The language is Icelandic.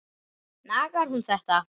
Nagar hún þetta?